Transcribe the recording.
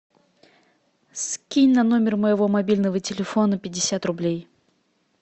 скинь на номер моего мобильного телефона пятьдесят рублей